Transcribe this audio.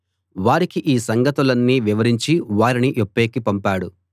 వారికి ఈ సంగతులన్నీ వివరించి వారిని యొప్పేకి పంపాడు